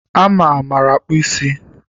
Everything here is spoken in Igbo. Ama maara akpụ ísí